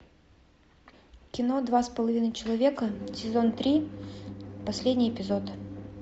кино два с половиной человека сезон три последний эпизод